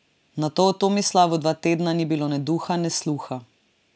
Nato o Tomislavu dva tedna ni bilo ne duha ne sluha.